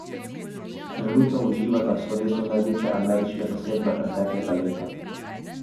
Trenutno uživata v slovesu največje ameriške zasedbe preteklega leta.